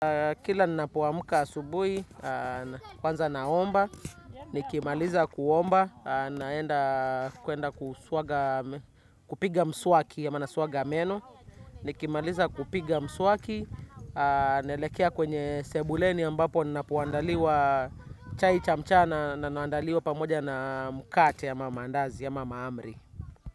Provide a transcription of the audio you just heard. Kila ninapo amka subui, kwanza naomba, nikimaliza kuomba, naenda kuenda kupiga mswaki ama naswaga meno. Nikimaliza kupiga mswaki, naelekea kwenye sebuleni ambapo ninapo andaliwa chai cha mchana na naandaliwa pamoja na mkate ama mandazi ama mahamri.